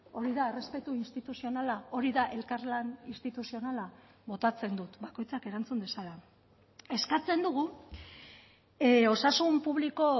hori da errespetu instituzionala hori da elkarlan instituzionala botatzen dut bakoitzak erantzun dezala eskatzen dugu osasun publiko